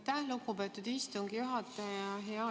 Aitäh, lugupeetud istungi juhataja!